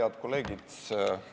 Head kolleegid!